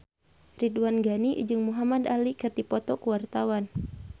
Ridwan Ghani jeung Muhamad Ali keur dipoto ku wartawan